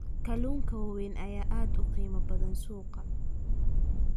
Kalluunka waaweyn ayaa aad uga qiimo badan suuqa.